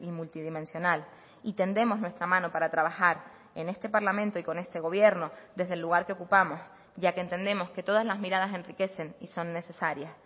multidimensional y tendemos nuestra mano para trabajar en este parlamento y con este gobierno desde el lugar que ocupamos ya que entendemos que todas las miradas enriquecen y son necesarias